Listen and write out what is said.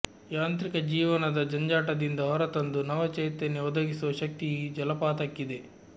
ಯಾಂತ್ರಿಕ ಜೀವನದ ಜಂಜಾಟದಿಂದ ಹೊರತಂದು ನವಚೈತನ್ಯ ಒದಗಿಸೋ ಶಕ್ತಿ ಈ ಜಲಪಾತಕ್ಕಿದೆ